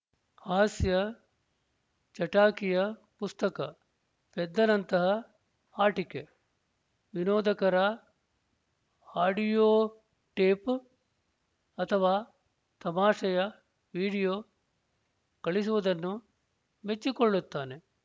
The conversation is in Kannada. ಹಾಸ್ಯ ಚಟಾಕಿಯ ಪುಸ್ತಕ ಪೆದ್ದನಂತಹ ಆಟಿಕೆ ವಿನೋದಕರ ಆಡಿಯೋ ಟೇಪ್ ಅಥವಾ ತಮಾಷೆಯ ವಿಡಿಯೋ ಕಳುಹಿಸುವುದನ್ನು ಮೆಚ್ಚಿಕೊಳ್ಳುತ್ತಾನೆ